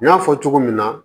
N y'a fɔ cogo min na